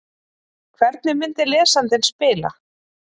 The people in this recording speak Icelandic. Hvernig myndi lesandinn spila?